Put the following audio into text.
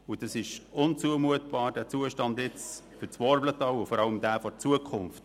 Der heutige Zustand des Verkehrs durch das Worblental ist unzumutbar, vor allem im Hinblick auf die Zukunft.